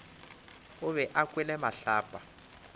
o be a kwele mahlapa